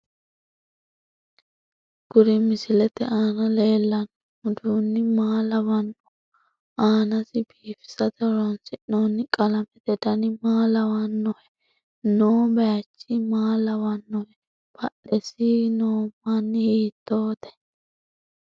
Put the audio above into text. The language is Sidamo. Kuri misilete aana leelanno uduunni maa lawannoho aanasi biifisate horoonsinooni qalamete dani maa lawanohe noo bayiichi maa lawannohe badheseenk noominna hiitoote